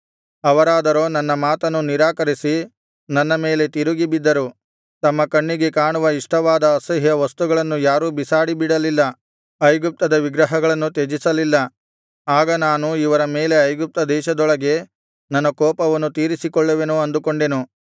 ಅವರಾದರೋ ನನ್ನ ಮಾತನ್ನು ನಿರಾಕರಿಸಿ ನನ್ನ ಮೇಲೆ ತಿರುಗಿ ಬಿದ್ದರು ತಮ್ಮ ಕಣ್ಣಿಗೆ ಕಾಣುವ ಇಷ್ಟವಾದ ಅಸಹ್ಯ ವಸ್ತುಗಳನ್ನು ಯಾರೂ ಬಿಸಾಡಿಬಿಡಲಿಲ್ಲ ಐಗುಪ್ತದ ವಿಗ್ರಹಗಳನ್ನು ತ್ಯಜಿಸಲಿಲ್ಲ ಆಗ ನಾನು ಇವರ ಮೇಲೆ ಐಗುಪ್ತ ದೇಶದೊಳಗೆ ನನ್ನ ರೋಷಾಗ್ನಿಯನ್ನು ಸುರಿಸಿ ನನ್ನ ಕೋಪವನ್ನು ತೀರಿಸಿಕೊಳ್ಳುವೆನು ಅಂದುಕೊಂಡೆನು